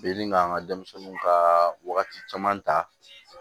Bɛ ka n ka denmisɛnninw ka wagati caman ta